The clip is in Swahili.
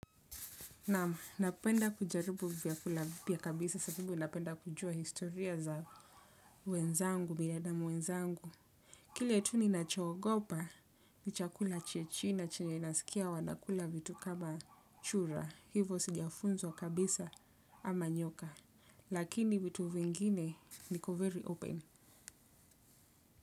Naam, napenda kujaribu vyakula vipya kabisa sababu napenda kujua historia za wenzangu, binadamu wenzangu. Kile tu ninachoogopa, ni chakula cha china na chenye nasikia wanakula vitu kama chura. Hivo sijafunzwa kabisa ama nyoka. Lakini vitu vingine niko "very open".